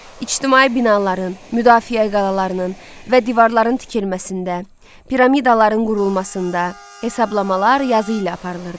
İctimai binaların, müdafiə qalalarının və divarların tikilməsində, piramidaların qurulmasında hesablamalar yazı ilə aparılırdı.